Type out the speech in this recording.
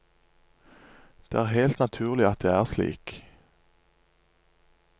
Det er helt naturlig at det er slik.